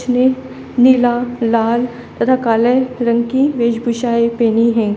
इसमें नीला लाल तथा काले रंग की भेष भूषाएं पहनी है।